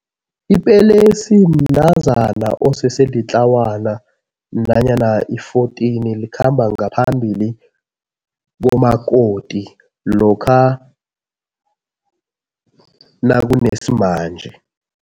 Ipelesi mntazana osese litlawana nanyana i-fourteen. Likhamba ngaphambili komakoti lokha nakunesimanje.